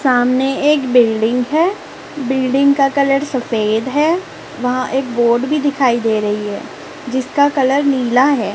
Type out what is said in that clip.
सामने एक बिल्डिंग है बिल्डिंग का कलर सफेद है वहां एक बोर्ड भी दिखाई दे रही है जिसका कलर नीला है।